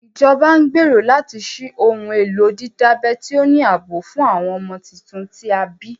Ìjọba ń gbèrò láti ṣí ohun èlò dídábẹ́ tí ó ní ààbò fún àwọn ọmọ tuntun tí a bí